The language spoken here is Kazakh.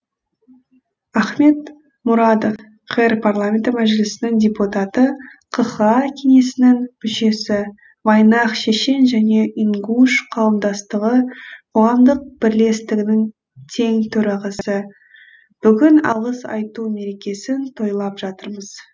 ахмед мурадов қр парламенті мәжілісінің депутаты қха кеңесінің мүшесі вайнах шешен және ингуш қауымдастығы қоғамдық бірлестігінің тең төрағасы бүгін алғыс айту мерекесін тойлап жатырмыз